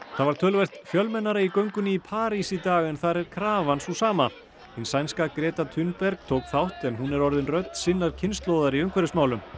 það var töluvert fjölmennara í göngunni París í dag en þar er krafan sú sama hin sænska Gréta tók þátt en hún er orðin rödd sinnar kynslóðar í umhverfismálum